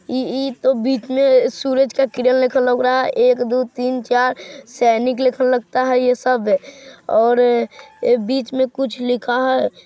ई-ई-तो बीच में सूरज का किरण लिखल लग रहा है एक-दो-तीन-चार सैनिक लिखल लगता है ये सब और अ बीच में कुछ लिखा है।